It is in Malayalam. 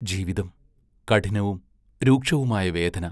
ജീവിതം; കഠിനവും രൂക്ഷവുമായ വേദന.